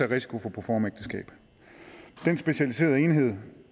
risiko for proformaægteskab den specialiserede enhed